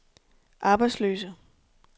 arbejdsløse